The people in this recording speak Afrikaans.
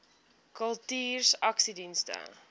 kultuursakedienste